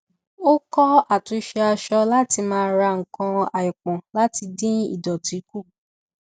ó kọ àtúnṣe aṣọ láti má ra nǹkan àìpọn láti dín ìdọtí kù